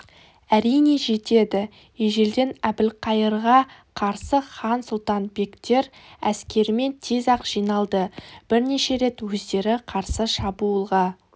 әрине жетеді ежелден әбілқайырға қарсы хан сұлтан бектер әскерімен тез-ақ жиналды бірнеше рет өздері қарсы шабуылға